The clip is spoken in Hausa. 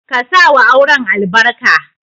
Ka sa wa auren albarka.